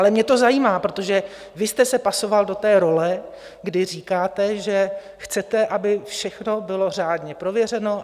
Ale mě to zajímá, protože vy jste se pasoval do té role, kdy říkáte, že chcete, aby všechno bylo řádně prověřeno.